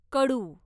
कडू